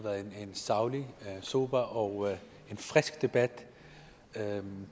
været en saglig sober og frisk debat det